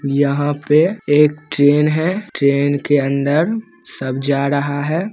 यहाँ पे एक ट्रेन है ट्रेन के अन्दर सब जा रहा है ।